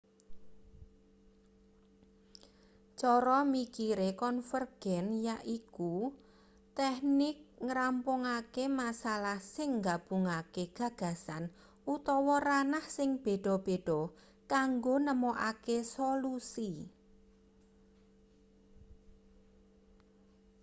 cara mikire konvergen yaiku teknik ngrampungake masalah sing nggabungake gagasan utawa ranah sing beda-beda kanggo nemokake solusi